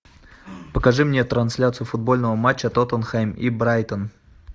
покажи мне трансляцию футбольного матча тоттенхэм и брайтон